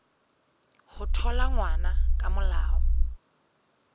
ho thola ngwana ka molao